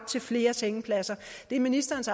til flere sengepladser det er ministerens